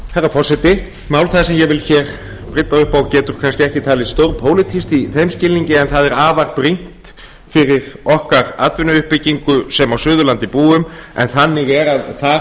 herra forseti mál það sem ég vil hér brydda upp á getur kannski ekki talist stórpólitískt í þeim skilningi en það er afar brýnt fyrir okkar atvinnuuppbyggingu sem á suðurlandi búum en þannig er að þar